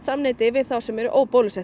samneyti við þá sem eru